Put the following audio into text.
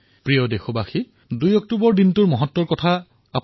মোৰ মৰমৰ দেশবাসীসকল ২ অক্টোবৰ আমাৰ ৰাষ্ট্ৰৰ বাবে এক গুৰুত্বপূৰ্ণ দিন